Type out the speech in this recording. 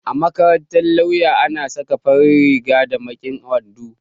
A makarantar lauya ana saka farin riga da baƙin wando